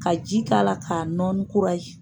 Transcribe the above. Ka ji k'a la k'a nɔɔni kura ye.